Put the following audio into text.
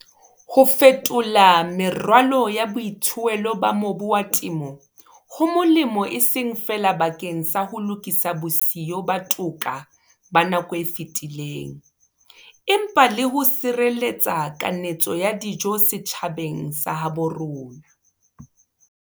Ho fetola meralo ya boithuelo ba mobu wa temo ho molemo e seng feela bakeng sa ho lokisa bosiyo ba toka ba nako e fetileng, empa le ho sireletsa kanetso ya dijo setjhabeng sa habo rona.